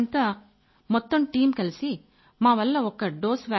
మేమంతా మొత్తం టీమ్ కలిసి మావల్ల ఒక్క డోస్